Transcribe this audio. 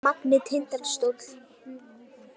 Magni- Tindastóll